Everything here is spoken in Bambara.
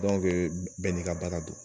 bɛɛ n'i ka baaga do.